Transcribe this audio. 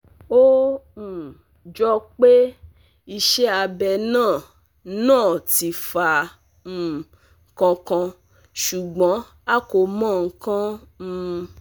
Ó um jọ pé iṣẹ́ abẹ náà náà ti fa um nkan kan, ṣùgbọ́n a kò mọ nkan um